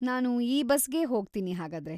ನಾನು ಈ ಬಸ್‌ಗೇ ಹೋಗ್ತೀನಿ ಹಾಗಾದ್ರೆ.